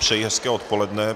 Přeji hezké odpoledne.